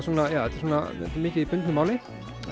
mikið í bundnu máli